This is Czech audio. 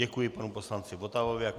Děkuji panu poslanci Votavovi.